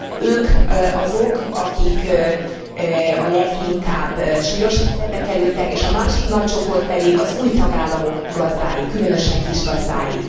Ők azok, akik a leginkább súlyos helyzetbe kerültek, és a másik nagy csoport pedig az új tagállamok gazdái, különösen kisgazdái.